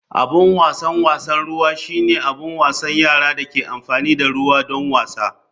Abin wasan wasan ruwa shine abin wasan yara da ke amfani da ruwa don wasa.